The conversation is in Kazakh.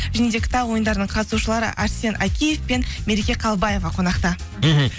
және де кітап ойындарының қатысушылары арсен акиев пен мереке қалыбаева қонақта мхм